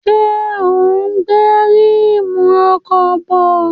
Ṣé ò ń gbé ríìmù ọkọ̀ bọ̀?